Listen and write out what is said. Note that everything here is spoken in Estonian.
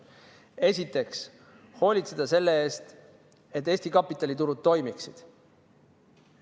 Esiteks, hoolitseda selle eest, et Eesti kapitaliturud toimiksid.